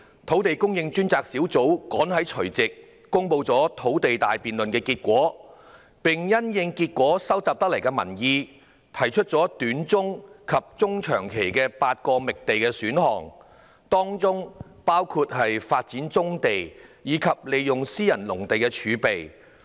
土地供應專責小組趕及在去年除夕公布"土地大辯論"的結果，並因應收集得來的民意，提出了短中期及中長期共8個覓地選項，當中包括發展棕地及利用私人農地儲備。